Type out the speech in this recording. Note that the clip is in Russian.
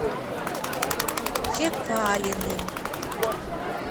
чекалиным